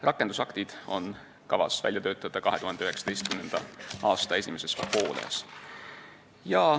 Rakendusaktid on kavas välja töötada 2019. aasta esimeses pooles.